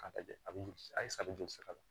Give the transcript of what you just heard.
K'a lajɛ a bɛ a ye sadi jɔsi la